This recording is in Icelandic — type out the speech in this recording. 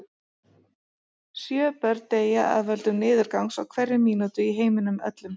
Sjö börn deyja af völdum niðurgangs á hverri mínútu í heiminum öllum.